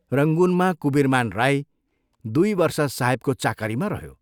रंगूनमा कुबीरमान राई दुइ वर्ष साहेबको चाकरीमा रह्यो।